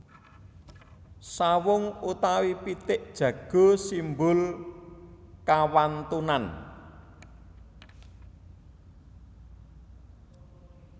Sawung utawi pitik jago simbol kawantunan